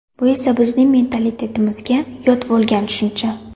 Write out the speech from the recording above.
Bu esa bizning mentalitetimizga yod bo‘lgan tushuncha.